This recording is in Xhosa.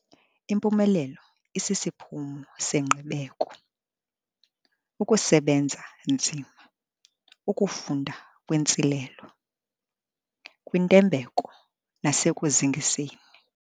'Impumelelo isisiphumo sengqibeko, ukusebenza nzima, ukufunda kwintsilelo, kwintembeko nasekuzingiseni.'